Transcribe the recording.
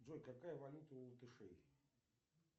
джой какая валюта у латышей